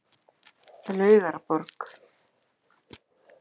Laugarborg